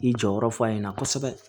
I jɔyɔrɔ fɔ a ɲɛna kosɛbɛ